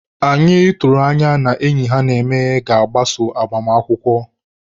Anyị tụrụ anya n'enyi ha na-eme ga-agbaso agbamakwụkwọ.